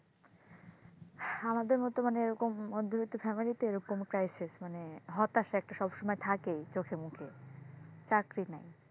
আমাদের মতো মানে এরকম মধ্যবিত্ত family তে এরকম crisis মানে হতাশা এরকম একটা থাকেই চোখে মুখে চাকরি নাই,